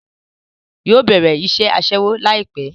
Yóò bẹ̀rẹ̀ iṣẹ́ Aṣẹ́wó láìpẹ́